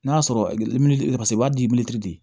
N'a sɔrɔ u b'a di